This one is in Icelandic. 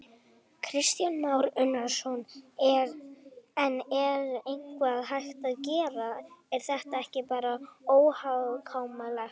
Kristján Már Unnarsson: En er eitthvað hægt að gera, er þetta ekki bara óhjákvæmilegt?